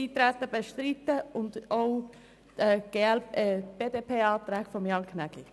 Bestreiten Sie das Nichteintreten und auch die BDP-Anträge von Jan Gnägi.